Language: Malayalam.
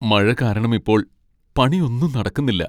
മഴ കാരണം ഇപ്പോൾ പണിയൊന്നും നടക്കുന്നില്ല.